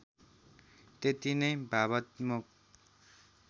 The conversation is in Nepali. त्यति नै भावात्मक